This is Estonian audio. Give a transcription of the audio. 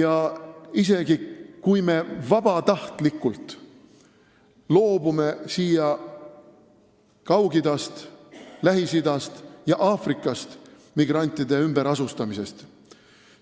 Ja isegi kui me loobume siia Kaug-Idast, Lähis-Idast ja Aafrikast migrante vabatahtlikult ümber asustamast,